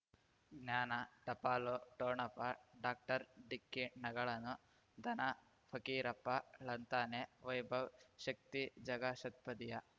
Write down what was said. ಜ್ಞಾನ ಟಪಾಲು ಠೊಣಪ ಡಾಕ್ಟರ್ ಢಿಕ್ಕಿ ಣಗಳನು ಧನ ಫಕೀರಪ್ಪ ಳಂತಾನೆ ವೈಭವ್ ಶಕ್ತಿ ಝಗಾ ಷಟ್ಪದಿಯ